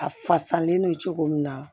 A fasalen don cogo min na